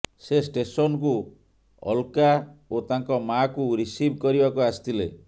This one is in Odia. ସେ ଷ୍ଟେସନକୁ ଅଲକା ଓ ତାଙ୍କ ମାଙ୍କୁ ରିସିଭ୍ କରିବାକୁ ଆସିଥିଲେ